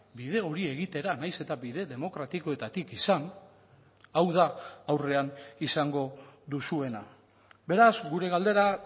bide hori egitera nahiz eta bide demokratikoetatik izan hau da aurrean izango duzuena beraz gure galdera